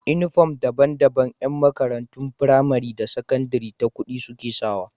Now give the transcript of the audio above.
Inufom daban daban Yan makarantun pramari da sakandari ta kudi suke sawa